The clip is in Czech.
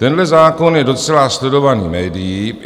Tenhle zákon je docela sledovaný médií.